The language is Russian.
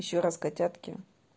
ещё раз котятки